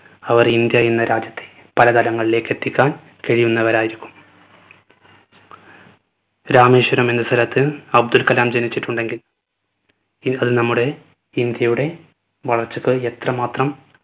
അവർ India എന്ന രാജ്യത്തെ പല തലങ്ങളിലേക്ക് എത്തിക്കാൻ കഴിയുന്നവരായിരിക്കും. രാമേശ്വരം എന്ന സ്ഥലത്തില്‍ അബ്ദുൽ കലാം ജനിച്ചിട്ടുണ്ടെങ്കിൽ ഇൻ അത് നമ്മുടെ ഇന്ത്യയുടെ വളർച്ചക്ക് എത്രമാത്രം